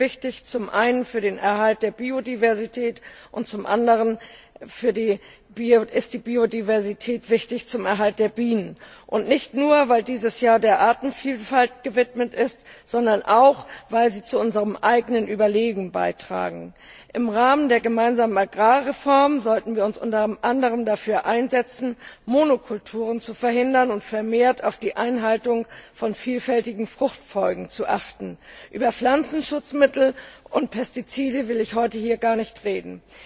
Zum einen sind sie wichtig für den Erhalt der Biodiversität und zum anderen ist die Biodiversität wichtig für den Erhalt der Bienenn nicht nur weil dieses Jahr der Artenvielfalt gewidmet ist, sondern auch weil sie zu unserem eigenen Überleben beitragen. Im Rahmen der gemeinsamen Agrarreform sollten wir uns unter anderem dafür einsetzen, Monokulturen zu verhindern und vermehrt auf die Einhaltung von vielfältigen Fruchtfolgen zu achten. Über Pflanzenschutzmittel und Pestizide will ich heute hier gar nicht reden.